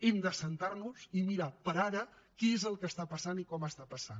hem de asseure’ns i mirar per ara què és el que està passant i com està passant